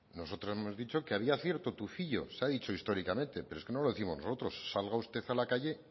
nosotros hemos dicho que había cierto tufillo se ha dicho históricamente pero no lo décimos nosotros salga usted a la calle